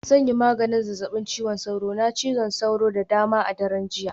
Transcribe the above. Zan yi maganin zazzabin cizon sauro, na cizon sauro da dama a daren jiya